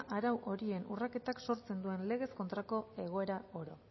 arauei horien urraketak sortzen duen legez kontrako egoera oro